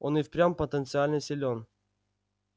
он и впрямь потенциально силён